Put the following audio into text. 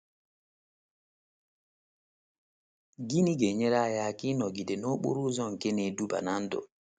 Gịnị ga - enyere anyị aka ịnọgide n’okporo ụzọ nke na - eduba ná ndụ?